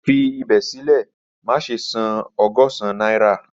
Fi ibẹ silẹ, maṣe san ọgọ́sán naira